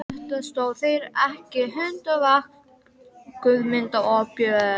Eftir þetta stóðu þeir ekki hundavakt, Guðmundur og Björn.